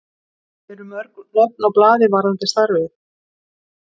Eru mörg nöfn á blaði varðandi starfið?